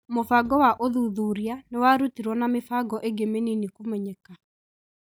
Mũbango wa ũthuthuria nĩwarũtirwo na mĩbango ĩngĩ mĩnini kũmenyeka.